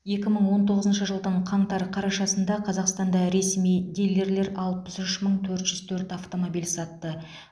екі мың он тоғызыншы жылдың қаңтар қарашасында қазақстанда ресми дилерлер алпыс үш мың төрт жүз төрт автомобиль сатты